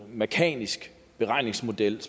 mekanisk beregningsmodel